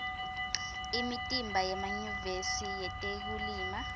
imitimba yemanyuvesi yetekulima